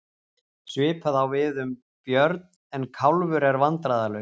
Svipað á við um Björn en Kálfur er vandræðalaus.